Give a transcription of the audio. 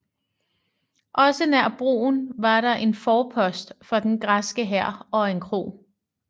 Også nær broen var der en forpost for den græske hær og en kro